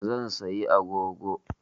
Zan sayi agogo